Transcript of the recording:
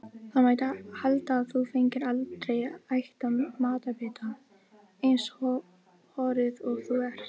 Það mætti halda að þú fengir aldrei ætan matarbita, eins horuð og þú ert.